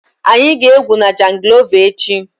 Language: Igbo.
Anyị ga-egwu na jangolova echi.